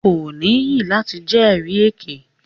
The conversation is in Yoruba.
Ko níyì lati jẹri èké.